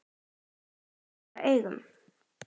Ekki fyrir allra augum.